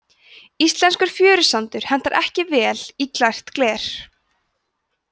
íslenskur fjörusandur hentar ekki vel í glært gler